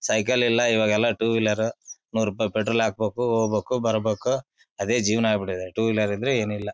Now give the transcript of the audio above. Cycle ಇಲ್ಲಾ ಈವಾಗೆಲ್ಲಾ two wheeler ನೂರ ರೂಪಾಯಿ ಪೆಟ್ರೋಲ್ ಹಾಕಬೇಕು ಹೋಗಬೇಕು ಬರಬೇಕು ಅದೇ ಜೀವ್ನ ಆಗಬಿಟ್ಟಿದೆ. ಟೂ ವೀಲರ್ ಇದ್ರೆ ಏನು ಇಲ್ಲಾ.